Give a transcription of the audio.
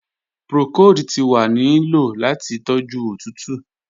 Procold ti wa ni lo lati toju otutu.